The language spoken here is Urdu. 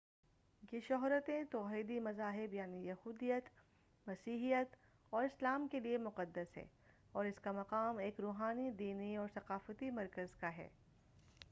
یہ شہرتین توحیدی مذاہب یعنی یہودیت مسیحیت اور اسلام کے لئےمقدس ہے اور اس کا مقام ایک روحانی دینی اور ثقافتی مرکز کا ہے